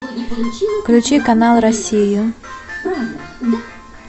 включи канал россия